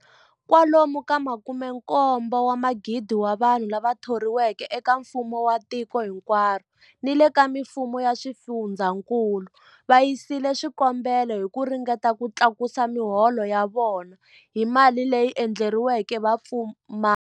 Kwalomu ka 17,000 wa vanhu lava thoriweke eka mfumo wa tiko hinkwaro ni le ka mifumo ya swifundzankulu va yisile swikombelo hi ku ringeta ku tlakusa miholo ya vona hi mali leyi endleriweke vapfumari.